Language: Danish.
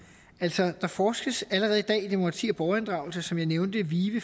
der forskes allerede i dag i demokrati og borgerinddragelse som jeg nævnte i vive